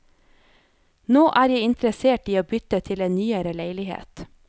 Nå er jeg interessert i å bytte til en nyere leilighet.